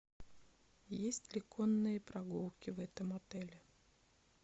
есть ли конные прогулки в этом отеле